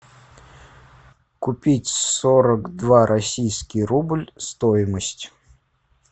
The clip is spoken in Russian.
купить сорок два российский рубль стоимость